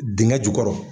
Dingɛ jukɔrɔ